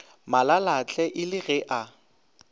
malalatle e le ge a